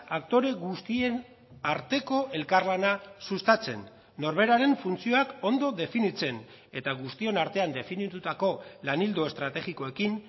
aktore guztien arteko elkarlana sustatzen norberaren funtzioak ondo definitzen eta guztion artean definitutako lan ildo estrategikoekin